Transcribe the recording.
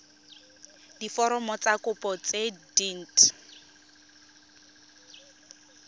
diforomo tsa kopo tse dint